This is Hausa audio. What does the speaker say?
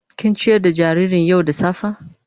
Kin ciyar da jaririn yau da safa.?